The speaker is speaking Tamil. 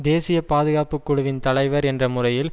தேசிய பாதுகாப்புக்குழுவின் தலைவர் என்ற முறையில்